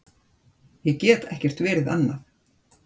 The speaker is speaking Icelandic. Ég get ekkert verið annað.